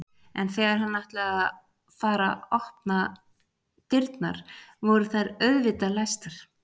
En þegar hann ætlaði að fara að opna dyrnar voru þær auðvitað læstar.